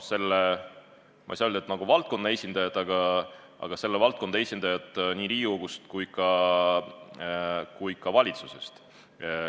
Sellest arutelust võtsid osa selle valdkonna esindajad nii Riigikogust kui ka valitsusest.